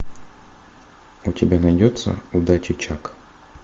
у тебя найдется удачи чак